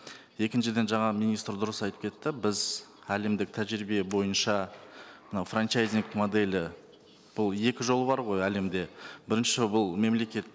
екіншіден жаңа министр дұрыс айтып кетті біз әлемдік тәжірибе бойынша мынау франчайзинг моделі бұл екі жол бар ғой әлемде бірінші бұл мемлекет